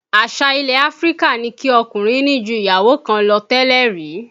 Àṣà ilẹ̀ Áfríkà ni kí ọkùnrin ní ju ìyàwó kan lọ tẹ́lẹ̀ rí